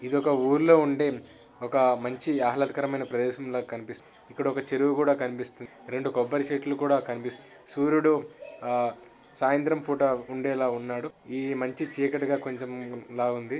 ఇది ఒక ఊర్లలో ఉండే ఒక మంచి ఆహ్లాదకరమైన ప్రదేశం లా కనిపిస్తుంది ఇక్కడ ఒక చెరువు కూడా కనిపిస్తుంది రెండు కొబ్బరి చెట్లు కూడా కనిపిస్తున్నాయి సూరీడు సాయంత్రం పుట ఉండేలా ఉన్నాడు ఇది మంచి చీకటిగా కొంచెం లాగా ఉంది.